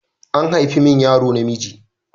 An haifa min yaro namiji.